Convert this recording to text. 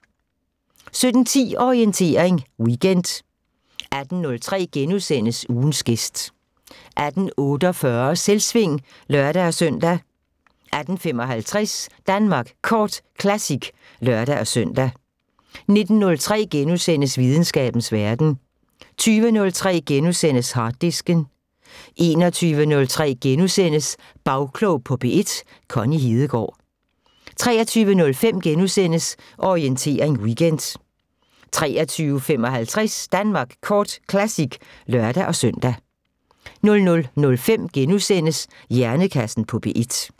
17:10: Orientering Weekend 18:03: Ugens gæst * 18:48: Selvsving (lør-søn) 18:55: Danmark Kort Classic (lør-søn) 19:03: Videnskabens Verden * 20:03: Harddisken * 21:03: Bagklog på P1: Connie Hedegaard * 23:05: Orientering Weekend * 23:55: Danmark Kort Classic (lør-søn) 00:05: Hjernekassen på P1 *